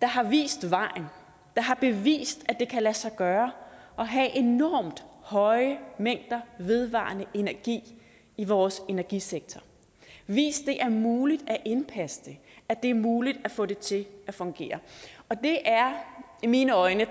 der har vist vejen der har bevist at det kan lade sig gøre at have enormt høje mængder af vedvarende energi i vores energisektor vist det er muligt at indpasse det at det er muligt få det til at fungere og det er i mine øjne